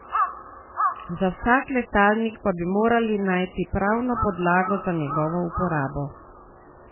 Za vsak letalnik pa bi morali najti pravno podlago za njegovo uporabo.